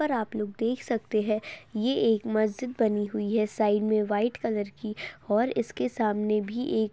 पर आप लोग देख सकते हैं ये एक मस्जिद बनी हुई है साइड मे व्हाइट कलर की और इसके सामने भी एक --